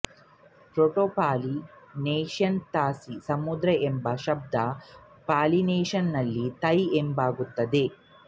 Proto-Polynesian ತಸಿ ಸಮುದ್ರ ಎಂಬ ಶಬ್ದ ಪಾಲಿನೇಷಿಯನ್ನಿನಲ್ಲಿ ತೈ ಎಂದಾಗುತ್ತದೆ